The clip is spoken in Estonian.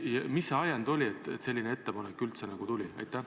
Mis see ajend oli, et selline ettepanek üldse tuli?